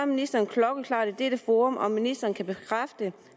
ministeren klokkeklart i dette forum om ministeren kan bekræfte